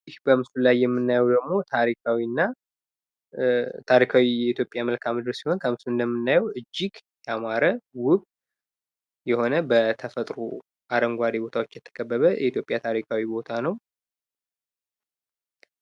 ይህ በምስሉ ላይ ይምናየው ደግሞ ታሪካዊ እና ታሪካዊ የኢትዮጵያ መልክዓ-ምድር ሲሆን እጅግ ያማረ ዉብ የሆነ በተፈጥሮ አረንጓዴ ቦታዎች የተከበበ የኢትዮጵያ ታሪካዊ ቦታ ነው።